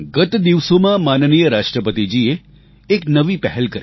ગત દિવસોમાં માનનીય રાષ્ટ્રપતિજીએ એક નવી પહેલ કરી